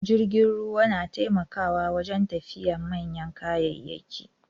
Jirgin ruwa nataimakawa wajen tafida manyan kayayyaki